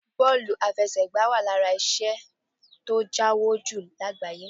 Bọ́ọ̀lù afẹsẹ̀gbá wà lára iṣẹ́ tó ń jáwó jù lágbàáyé